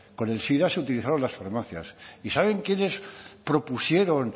con el sida se utilizaron las farmacias y saben quiénes propusieron